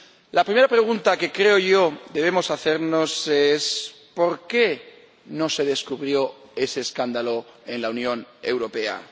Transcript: La primera pregunta que creo yo que debemos hacernos es por qué no se descubrió ese escándalo en la Unión Europea